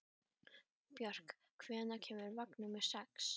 Björk, hvenær kemur vagn númer sex?